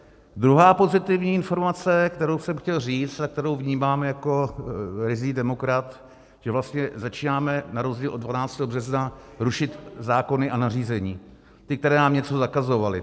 Druhá pozitivní informace, kterou jsem chtěl říct a kterou vnímám jako ryzí demokrat, že vlastně začínáme na rozdíl od 12. března rušit zákony a nařízení, ty, které nám něco zakazovaly.